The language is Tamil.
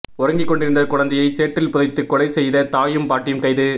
உறங்கிக் கொண்டிருந்த குழந்தையை சேற்றில் புதைத்து கொலை செய்த தாயும் பாட்டியும் கைது